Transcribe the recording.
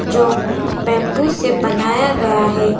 जो बंबू से बनाया गया है।